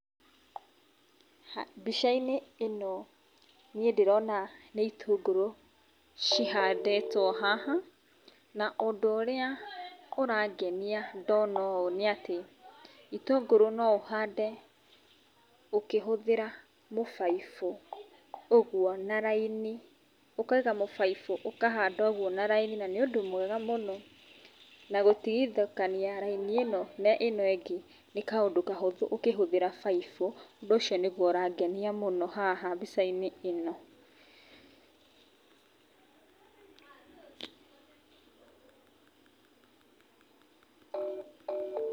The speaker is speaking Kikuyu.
Mbicainĩ ĩno niĩ ndĩrona nĩ itũngũrũ cihandĩtwo haha na ũndũ ũrĩa ũrangenia ndona ũũ nĩ atĩ itũngũrũ no ũhande ũkĩhũthĩra mũbaibũ ũguo na raini. Ũkaiga mũbaibũ ũkahanda ũguo na raini na nĩ ũndũ mwega mũno na gũtigithũkania raini ĩno na ĩno ĩngĩ nĩ kaũndũ kahũthũ ũkĩhũthĩra baibũ, ũndũ ũcio nĩguo ũrangenia mũno haha mbicainĩ ĩno.